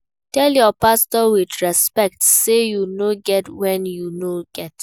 Tell your pastor with respect say you no get when you no get